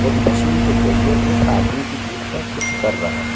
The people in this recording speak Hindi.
एक मशीन के जरिये उस आदमी की पीठ पर कुछ कर रहा है।